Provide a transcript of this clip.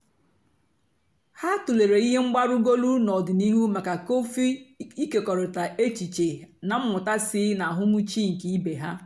ha tụ̀lèrè ihe mgbarúgọ́lù n'ọ̀dị̀nihú maka kọ́fị́ ị̀kékọ̀rị̀ta èchìchè na mmụ́ta sí ná àhụ́mị̀chè nkè ìbè ha.